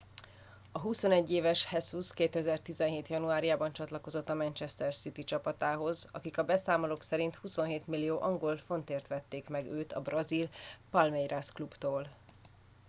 a 21 éves jesus 2017 januárjában csatlakozott a manchester city csapatához akik a beszámolók szerint 27 millió angol fontért vették meg őt a brazil palmeiras klubtól